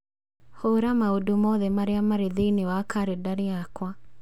Hũra maũndũ mothe marĩa marĩ thĩinĩ wa kalendarĩ yakwa